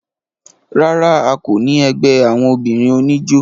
rárá, a kò ní ẹgbẹ́ àwọn obìnrin oníjó